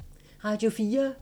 Radio 4